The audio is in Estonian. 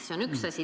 See on üks asi.